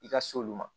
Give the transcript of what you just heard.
I ka s'olu ma